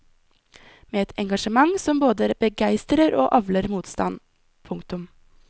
Med et engasjement som både begeistrer og avler motstand. punktum